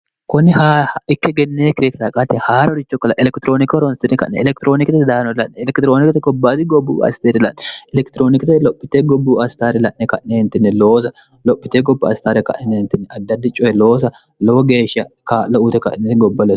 kunni hikke gennee kirikiraqaate haarorichokkola elekitirooniki horoonsini ka'ne elekitiroonikite daanori la'ne elekitiroonikite gobbaati gobbuu asteerilanne elekitiroonikite lophite gobbuu astaare la'ne ka'neentinni loosa lophite gobu astaare ka'neentinni addaddi coye loosa lowo geeshsha kaa'lo uute ka'neni gobboole